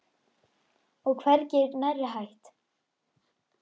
Og er hvergi nærri hætt.